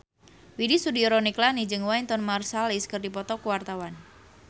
Widy Soediro Nichlany jeung Wynton Marsalis keur dipoto ku wartawan